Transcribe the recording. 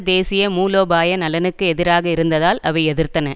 தேசிய மூலோபாய நலனுக்கு எதிராக இருந்ததால் அவை எதிர்த்தன